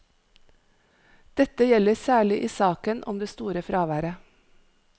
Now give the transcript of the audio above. Dette gjelder særlig i saken om det store fraværet.